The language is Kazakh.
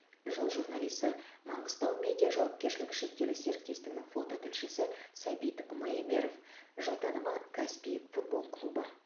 жыл журналисі маңғыстау медиа жауапкершілігі шектеулі серіктестігінің фототілшісі сәбит майемеров жыл танымы каспий футбол клубы